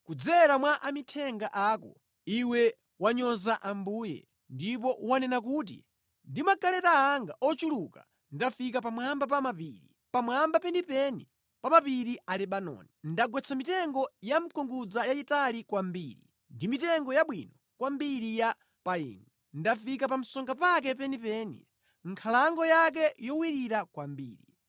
Kudzera mwa amithenga ako iwe wanyoza Ambuye. Ndipo wanena kuti, ‘Ndi magaleta anga ochuluka ndafika pamwamba pa mapiri, pamwamba penipeni pa mapiri a Lebanoni. Ndagwetsa mitengo yamkungudza yayitali kwambiri, ndi mitengo yabwino kwambiri ya payini. Ndafika pa msonga pake penipeni, nkhalango yake yowirira kwambiri.